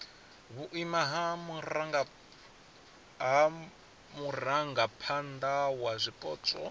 vhuimo ha murangaphana wa zwipotso